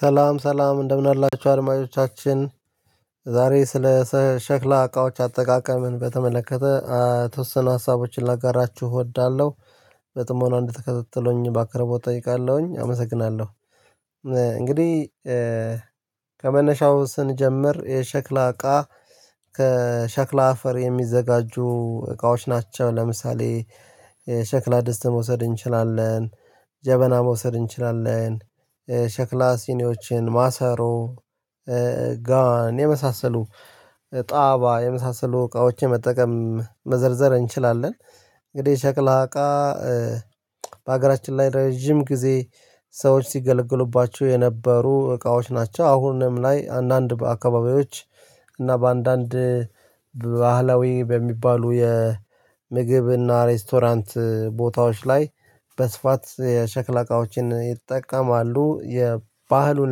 ሰላም ሰላም እንደምን አላችሁ አድማጮቻችን ዛሬ ስለ ሸክላ እቃዎች አጠቃቀምን በተመለከተ የተወሰኑ ሀሳቦችን ላጋራችሁ እወዳለሁ። በጥሞና እንድትከታተሉኝ በአክብሮት እጠይቃለሁኝ አመሰግናለሁ። እንግዲህ ከመነሻው ስንጀምር የሸክላ እቃ ከሸክላ አፈር የሚዘጋጁ እቃዎች ናቸው። ለምሳሌ ሸክላ ደስትን መውሰድ እንችላለን። ጀበና መውሰድ እንችላለን። ሸክላ ሲኒዎችን ማሰሮ ጋን የመሳሰሉ ጣባ የመሳሰሉ እቃዎችን መጠቀም መዘርዘር እንችላለን። እንግዲህ ሸክላ እቃ በሀገራችን ላይ ረጅም ጊዜ ሰዎች ሲገለግሉባቸው የነበሩ እቃዎች ናቸው። አሁንም ላይ አንዳንድ አካባቢዎች እና በአንዳንድ በባህላዊ በሚባሉ የምግብ እና ሬስቶራንት ቦታዎች ላይ በስፋት የሸክላ እቃዎችን ይጠቀማሉ። የባህሉን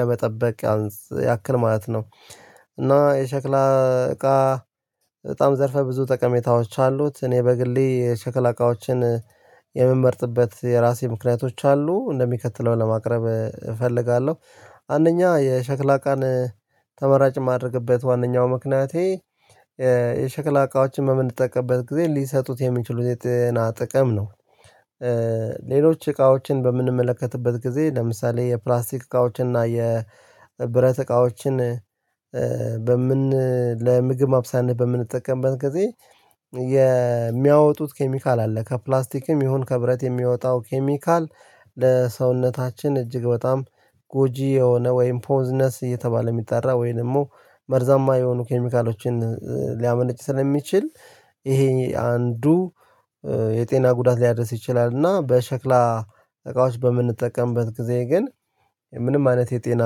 ለመጠበቅ ያክል ማለት ነው። እና የሸክላ እቃ በጣም ዘርፈ ብዙ ጠቀሜታዎች አሉት። እኔ በግሌ የሸክላ እቃዎችን የምመርጥበት የራሴ ምክንያቶች አሉ እንደሚከተለው ለማቅረብ እፈልጋለሁ። አንደኛ የሸክላ እቃን ተመራጭ የማደርግበት ዋነኛው ምክንያቴ የሸክላ እቃዎችን በምንጠቀምበት ጊዜ ሊሰጡት የሚችሉት የጤና ጥቅም ነው። ሌሎች እቃዎችን በምንመለከትበት ጊዜ ለምሳሌ የፕላስቲክ እቃዎችን እና የብረት እቃዎችን ለምግብ ማብሰያነት በምንጠቀምበት ጊዜ የሚያወጡት ኬሚካል አለ ከፕላስቲክም ይሁን ከብረት የሚወጣው ኬሚካል። ለሰውነታችን እጅግ በጣም ጎጂ የሆነ ወይም ፖዝነስ እየተባለ የሚጠራ ወይም ደግሞ መርዛማ የሆኑ ኬሚካሎችን ሊያመነጭ ስለሚችል ይሄ አንዱ የጤና ጉዳት ሊያደርስ ይችላል። እና በሸክላ እቃዎች በምንጠቀምበት ጊዜ ግን ምንም አይነት የጤና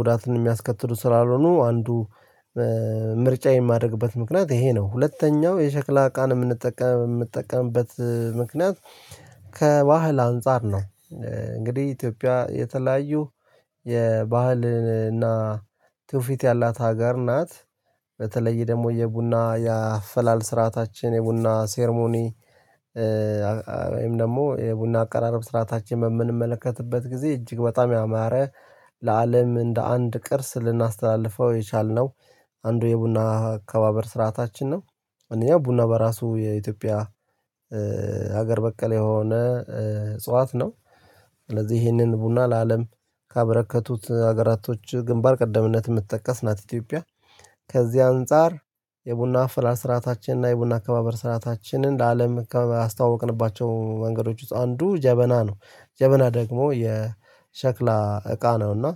ጉዳትን የሚያስከትሉ ስላልሆኑ አንዱ ምርጫ የማደርግበት ምክንያት ይሄ ነው። ሁለተኛው የሸክላ እቃን የምንጠቀምበት ምክንያት ከባህል አንፃር ነው። እንግዲህ ኢትዮጵያ የተለያዩ የባህልና ትውፊት ያላት ሀገር ናት። በተለይ ደግሞ የቡና የአፈላል ስርዓታችን የቡና ሴርሞኒ ወይም ደግሞ የቡና አቀራረብ ስርዓታችን በምንመለከትበት ጊዜ እጅግ በጣም ያማረ ለአለም እንደ አንድ ቅርስ ልናስተላልፈው የቻልነው አንዱ የቡና አካባበር ስርዓታችን ነው። አንደኛው ቡና በራሱ የኢትዮጵያ ሀገር በቀል የሆነ እጽዋት ነው። ስለዚህ ይሄንን ቡና ለአለም ካበረከቱት ሀገራቶች ግንባር ቀደምነት የምትጠቀስ ናት ኢትዮጵያ። ከዚህ አንፃር የቡና አፈላል ስርዓታችን እና የቡና አከባበር ስርአታችንን ለአለም ካስተዋወቅንባቸው መንገዶች ውስጥ አንዱ ጀበና ነው። ጀበና ደግሞ የሸክላ እቃ ነው። እና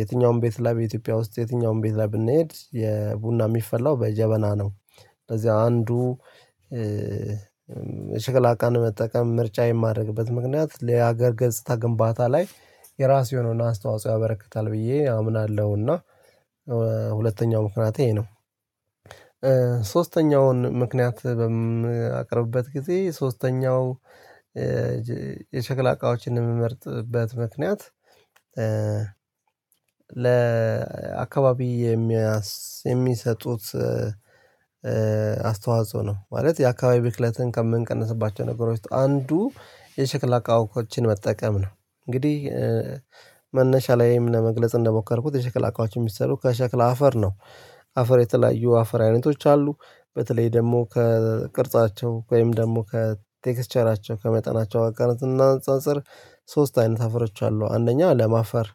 የትኛውም ቤት ላይ በኢትዮጵያ ውስጥ የትኛውም ቤት ላይ ብንሄድ የቡና የሚፈላው በጀበና ነው። ስለዚህ አንዱ የሸክላ እቃን መጠቀም ምርጫ የማድረግበት ምክንያት ለሀገር ገጽታ ግንባታ ላይ የራሱ የሆነውን አስተዋጽኦ ያበረክታል ብዬ አምናለሁና። ሁለተኛው ምክንያት ይሄ ነው። ሶስተኛውን ምክንያት በማቀርብበት ጊዜ ሶስተኛው የሸክላ እቃዎችን የምመርጥበት ምክንያት ለ ለአካባቢ የሚሰጡት አስተዋጽኦ ነው። ማለት የአካባቢ ብክለትን ከምንቀንስባቸው ነገሮች ውስጥ አንዱ የሸክላ አቃወችን መጠቀም ነው። እንግዲህ መነሻ ላይም ለመግለጽ እንደሞከርኩት የሸክላ አቃወች የሚሰሩት ከሸክላ አፈር ነው። አፈር የተለያዩ አፈር አይነቶች አሉ። በተለይ ደግሞ ከቅርጻቸው ወይም ደግሞ ከቴክስቸራቸው ከመጠናቸው አኳያ ስናነፃፅር ሶስት አይነት አፈሮች አሉ አንደኛ ለም አፈር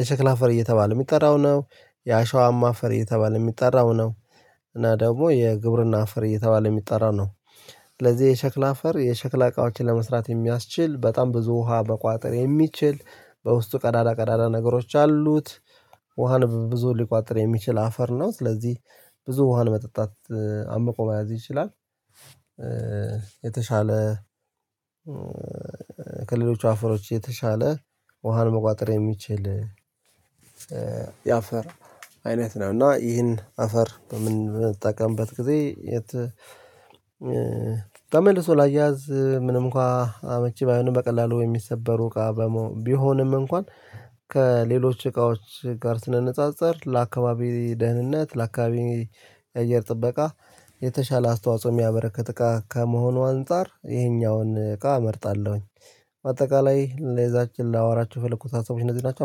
የሸክላ አፈር እየተባለ የሚጠራው ነው። የአሸዋማ አፈር እየተባለ የሚጠራው ነው። እና ደግሞ የግብርና አፈር እየተባለ የሚጠራ ነው። ስለዚህ የሸክላ አፈር የሸክላ እቃዎችን ለመስራት የሚያስችል በጣም ብዙ ውሃ መቋጠር የሚችል በውስጡ ቀዳዳ ቀዳዳ ነገሮች አሉት። ውሃን ብዙ ሊቋጠር የሚችል አፈር ነው ስለዚህ ብዙ ውሃ መጠጣት አምቆ መያዝ ይችላል። የተሻለ ከሌሎች አፈሮች የተሻለ ውሃን መቋጠር የሚችል የአፈር አይነት ነው። እና ይህን አፈር በምንትጠቀምበት ጊዜ የት ተመልሶ ላያያዝ ምንም እንኳን አመቺ ባይሆንም በቀላሉ የሚሰበሩ እቃ። ቢሆንም እንኳን ከሌሎች እቃዎች ጋር ስናነጻጸር ለአካባቢ ደህንነት ለአካባቢ አየር ጥበቃ የተሻለ አስተዋጽኦ የሚያበረክት እቃ ከመሆኑ አንፃር ይሄኛውን እቃ እመርጣለሁኝ። በአጠቃላይ ለዛሬ ላወራችሁ የፈለኩት ሀሳቦች እነዚህ ናቸው አመሰግናለሁ